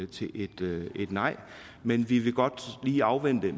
til et nej men vi vil godt lige afvente